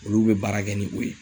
Olu be baara kɛ ni o ye